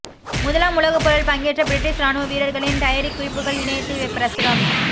முதலாம் உலகப்போரில் பங்கேற்ற பிரிட்டிஷ் ராணுவ வீரர்களின் டயரிக் குறிப்புகள் இணையத்தில் பிரசுரம்